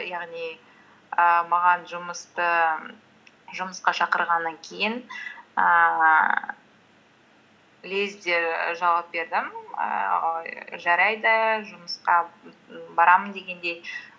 яғни ііі жұмысқа шақырғаннан кейін ііі лезде жауап бердім ііі жарайды жұмысқа барамын дегендей